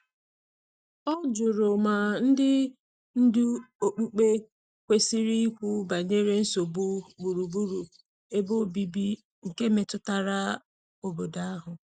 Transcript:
O jụrụ ma ndị ndu okpukpe kwesiri ikwu banyere nsogbu gburugburu ebe obibi nke metụtara obodo ahụ.